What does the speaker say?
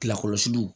Lakɔlɔsiliw